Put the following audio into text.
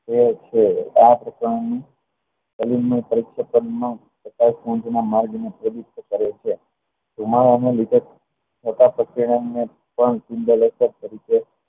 એ છે આ કણોની ધુમાડાના લીધે